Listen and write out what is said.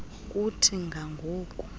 kuthi ga ngoku